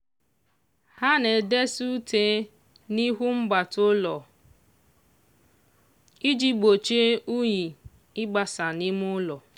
ha na-edesa ute n'ihu mbata ụlọ iji gbochie unyi ịgbasa n'ime ụlọ.